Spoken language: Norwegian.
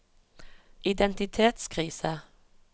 identitetskrise